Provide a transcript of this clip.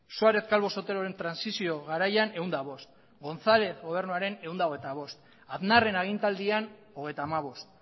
suarez calvo soteloren transizio garaian ehun eta bost gontzalez gobernuaren ehun eta hogeita bost aznarren agintealdian hogeita hamabost